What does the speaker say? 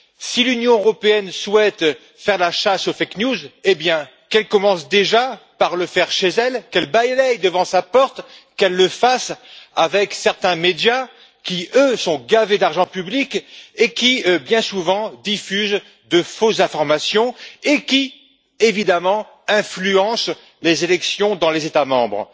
Si l'Union européenne souhaite faire la chasse aux fake news eh bien, qu'elle commence déjà par le faire chez elle, qu'elle balaie devant sa porte, qu'elle le fasse avec certains médias qui, eux, sont gavés d'argent public et qui, bien souvent, diffusent de fausses informations par lesquelles, évidemment, ils influencent les élections dans les États membres.